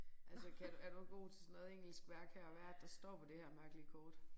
Altså kan du er du god til sådan noget engelskværk her hvad er det der står på det her mærkelige kort